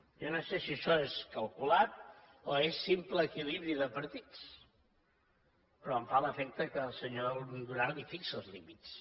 jo no sé si això és calculat o és simple equilibri de partits però em fa l’efecte que el senyor duran li fixa els límits